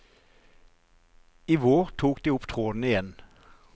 I vår tok de opp tråden igjen.